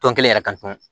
Tɔn kelen yɛrɛ ka dun